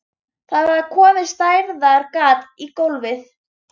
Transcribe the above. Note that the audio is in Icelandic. Það var komið stærðar gat í gólfið.